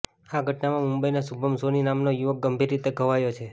આ ઘટનામાં મુંબઈના શુભમ સોની નામનો યુવક ગંભીર રીતે ઘવાયો છે